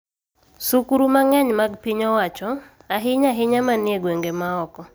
Sukuru mang�eny mag piny owacho, ahinya-ahinya ma ni e gwenge ma oko,